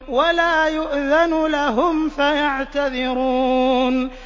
وَلَا يُؤْذَنُ لَهُمْ فَيَعْتَذِرُونَ